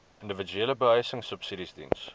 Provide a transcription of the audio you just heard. individuele behuisingsubsidies diens